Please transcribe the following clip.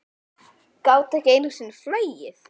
Gátu ekki einu sinni flogið.